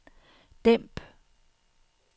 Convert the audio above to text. dæmp